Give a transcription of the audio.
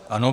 Ano.